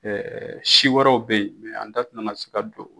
si wɛrɛw bɛ yen an da tɛna na se ka don